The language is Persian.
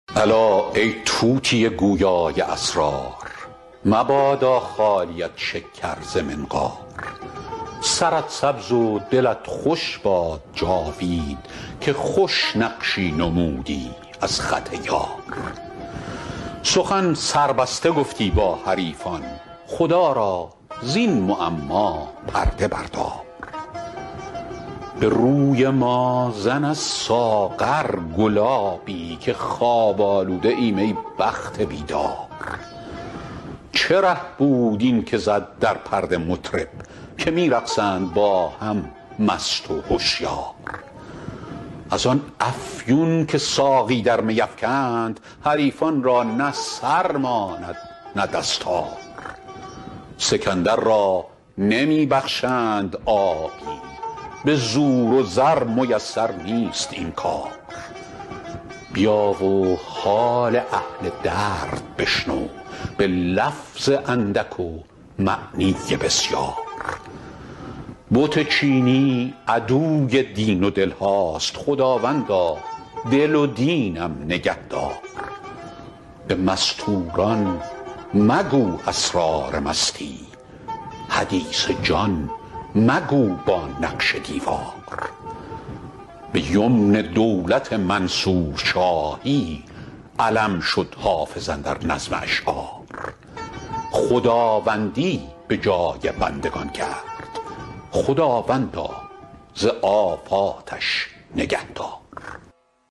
الا ای طوطی گویا ی اسرار مبادا خالیت شکر ز منقار سرت سبز و دلت خوش باد جاوید که خوش نقشی نمودی از خط یار سخن سربسته گفتی با حریفان خدا را زین معما پرده بردار به روی ما زن از ساغر گلابی که خواب آلوده ایم ای بخت بیدار چه ره بود این که زد در پرده مطرب که می رقصند با هم مست و هشیار از آن افیون که ساقی در می افکند حریفان را نه سر ماند نه دستار سکندر را نمی بخشند آبی به زور و زر میسر نیست این کار بیا و حال اهل درد بشنو به لفظ اندک و معنی بسیار بت چینی عدوی دین و دل هاست خداوندا دل و دینم نگه دار به مستور ان مگو اسرار مستی حدیث جان مگو با نقش دیوار به یمن دولت منصور شاهی علم شد حافظ اندر نظم اشعار خداوندی به جای بندگان کرد خداوندا ز آفاتش نگه دار